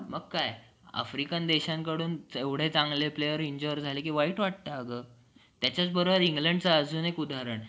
तर तुम्ही मला please सांगा किती दिवस